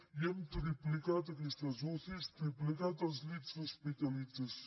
i hem triplicat aquestes ucis triplicat els llits d’hospitalització